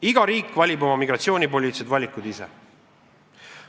Iga riik valib oma migratsioonipoliitilised valikud ise.